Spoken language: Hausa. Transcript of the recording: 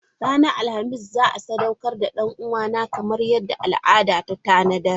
Ranar Alhamis za a sadaukar da dan uwana kamar yadda al'ada ta tanada.